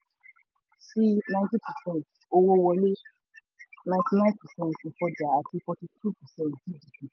sí ninety percent owó wọlé ninety nine percent ìfọjà àti forty two percent gdp.